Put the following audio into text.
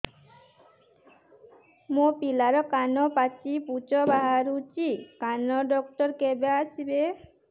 ମୋ ପିଲାର କାନ ପାଚି ପୂଜ ବାହାରୁଚି କାନ ଡକ୍ଟର କେବେ ଆସିବେ